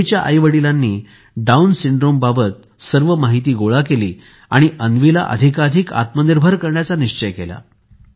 अन्वीच्या आईवडिलांनी डाऊन सिंड्रोमबाबत सर्व माहिती गोळा केली आणि अन्वीला अधिकाधिक आत्मनिर्भर करण्याचा निश्चय केला